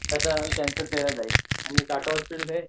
त्यांचा सेवा दिल्या जातात टाटा हॉस्पिटल